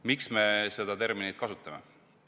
Miks me seda terminit kasutame?